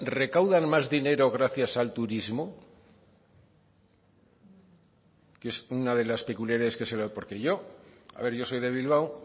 recaudan más dinero gracias al turismo que es una de las peculiares que se porque yo a ver yo soy de bilbao